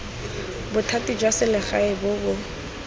bothati jwa selegae bo bo